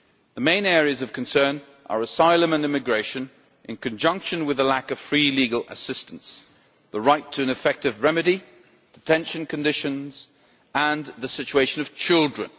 The main areas of concern are asylum and immigration, in conjunction with the lack of free legal assistance, the right to an effective remedy, detention conditions and the situation of children.